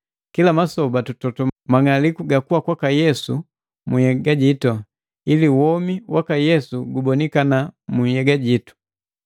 Kila masoba tutoto mang'aliku ga kuwa kwaka Yesu munhyega jitu, ili womi waka Yesu gubonikana mu nhyega jitu.